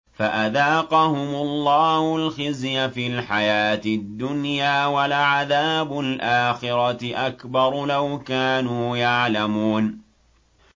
فَأَذَاقَهُمُ اللَّهُ الْخِزْيَ فِي الْحَيَاةِ الدُّنْيَا ۖ وَلَعَذَابُ الْآخِرَةِ أَكْبَرُ ۚ لَوْ كَانُوا يَعْلَمُونَ